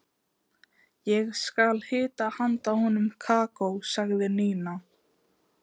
Ég skal hita handa honum kakó sagði Nína.